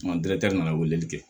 nana weleli kɛ